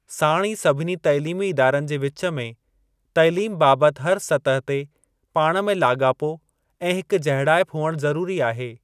साणु ई सभिनी तइलीमी इदारनि जे विच में तइलीम बाबति हर सतह ते पाण में लागापो ऐं हिक जहिड़ाइप हुअणु ज़रूरी आहे।